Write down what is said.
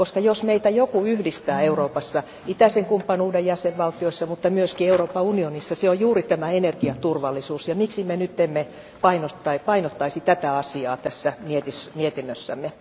Koska jos meitä joku yhdistää Euroopassa, itäisen kumppanuuden jäsenvaltioissa, mutta myös Euroopan unionissa, se on juuri tämä energiaturvallisuus, ja miksi me nyt emme painottaisi tätä asiaa tässä mietinnössämme.